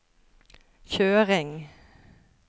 kjøring